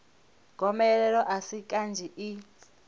gomelelo a si kanzhi i